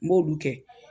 N b'olu kɛ